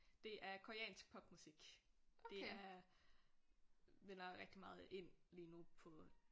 Det er koreansk popmusik. Det er vinder rigtig meget ind lige nu på